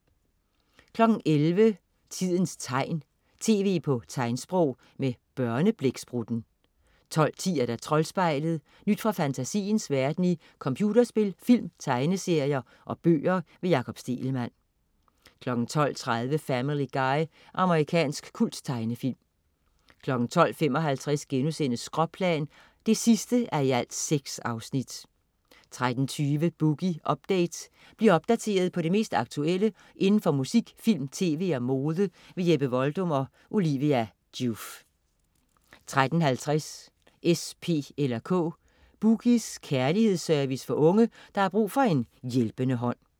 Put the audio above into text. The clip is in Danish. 11.00 Tidens tegn, tv på tegnsprog. Med Børneblæksprutten 12.10 Troldspejlet. Nyt fra fantasiens verden i computerspil, film, tegneserier og bøger. Jakob Stegelmann 12.30 Family Guy. Amerikansk kulttegnefilm 12.55 Skråplan 6:6* 13.20 Boogie Update. Bliv opdateret på det mest aktuelle inden for musik, film, tv og mode. Jeppe Voldum og Olivia Joof 13.50 S, P eller K. "Boogies" kærlighedsservice for unge, der har brug for en hjælpende hånd